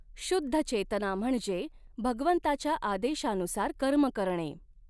शुद्ध चेतना म्हणजे भगवंताच्या आदेशानुसार कर्म करणे.